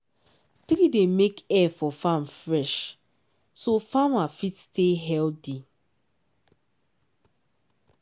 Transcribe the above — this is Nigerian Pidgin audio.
tree dey make air for farm fresh so farmer fit stay healthy.